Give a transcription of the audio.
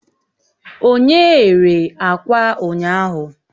Onye ghere akwa ụnyaahụ?